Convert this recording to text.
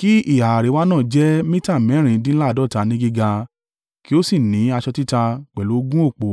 Kí ìhà àríwá náà jẹ́ mita mẹ́rìndínláàádọ́ta ní gíga, kí ó sì ní aṣọ títa, pẹ̀lú ogun òpó